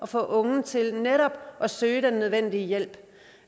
få unge til netop at søge den nødvendige hjælp